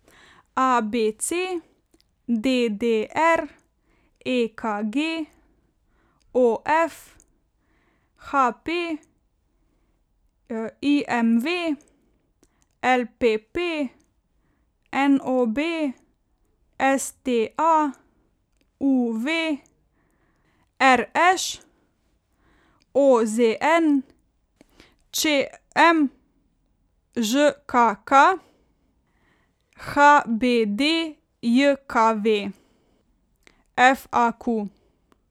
A B C; D D R; E K G; O F; H P; I M V; L P P; N O B; S T A; U V; R Š; O Z N; Č M; Ž K K; H B D J K V; F A Q.